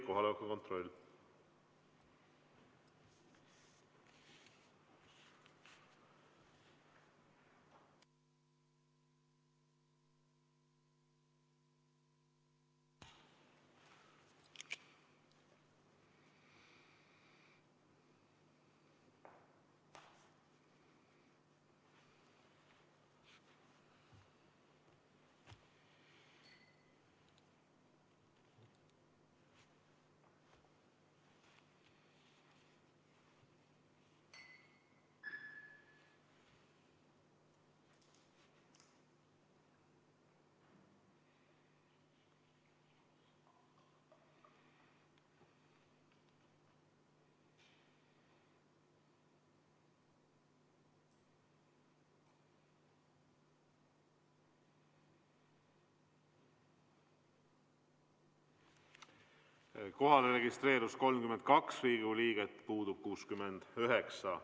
Kohalolijaks registreerus 32 Riigikogu liiget, puudub 69.